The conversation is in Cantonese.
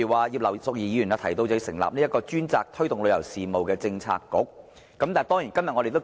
葉劉淑儀議員建議，"成立專責推動旅遊事務的政策局"。